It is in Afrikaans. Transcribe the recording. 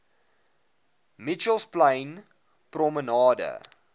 mitchells plain promenade